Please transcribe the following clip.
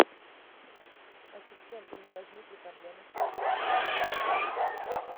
ассистент у меня возникли проблемы с оплатой